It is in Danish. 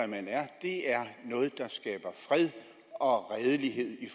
man er er noget der skaber fred og redelighed i